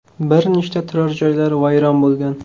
Bir nechta turar-joylar vayron bo‘lgan.